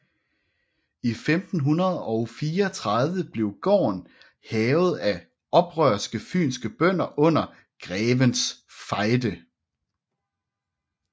I 1534 blev gården hærget af oprørske fynske bønder under Grevens Fejde